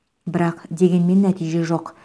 бірақ дегенмен нәтиже жоқ